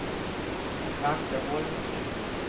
Svante Holmqvist